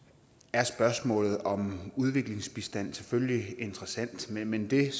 er spørgsmålet om udviklingsbistand selvfølgelig interessant men det er